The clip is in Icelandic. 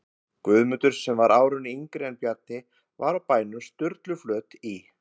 Guðmundur, sem var árinu yngri en Bjarni, var á bænum Sturluflöt í